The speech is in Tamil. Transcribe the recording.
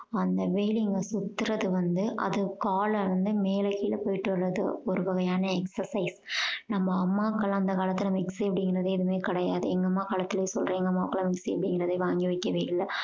அந்த wheeling அ சுத்துறது வந்து அது கால வந்து மேல கீழ போயிட்டு வர்றது ஒருவகையான exercise நம்ம அம்மாக்கள் எல்லாம் அந்த காலத்துல mixie அப்படிங்கறதே எதுவுமே கிடையாது. எங்க அம்மா காலத்திலேயே சொல்றன். எங்க அம்மாக்கு எல்லாம் mixie அப்படிங்கறதே வாங்கி வைக்கவே இல்ல